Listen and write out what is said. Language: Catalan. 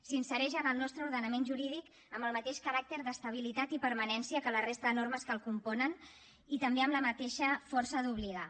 s’insereix en el nostre ordenament jurídic amb el mateix caràcter d’estabilitat i permanència que la resta de normes que el componen i també amb la mateixa força d’obligar